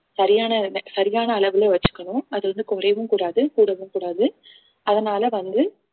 சரியான சரியான அளவுல வச்சுக்கணும் அது வந்து குறையவும் கூடாது கூடவும் கூடாது அதனால வந்து